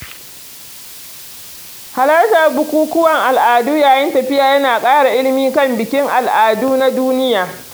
Halartar bukukuwan al'ada yayin tafiya yana ƙara ilimi kan bikin al'adu na duniya.